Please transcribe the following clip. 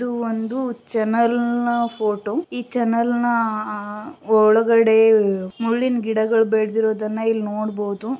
ಇದು ಒಂದು ಚಾನೆಲ್ ನ ಫೋಟೋ ಈ ಚಾನೆಲ್ ನ ಅಹ್ ಒಳಗಡೆ ಮುಳ್ಳಿನ ಗಿಡಗಳು ಬೆಳೆದಿರೋದನ್ನ ಇಲ್ ನೋಡ್ಬೋದು.